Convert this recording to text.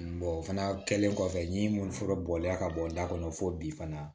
o fana kɛlen kɔfɛ yiri minnu fura bɔlen ka bɔ da kɔnɔ fo bi fana